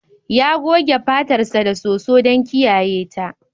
Ya goge fatarsa da soso don kiyaye ta.